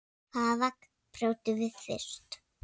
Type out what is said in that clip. Hvaða vegg brjótum við fyrst?